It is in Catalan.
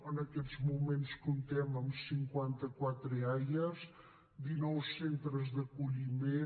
en aquests moments comptem amb cinquanta quatre eaia dinou centres d’acolliment